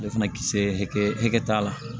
Ale fana kisɛ hakɛ t'a la